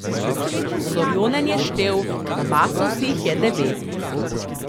Sorjonen je štel, nabasal si jih je devet.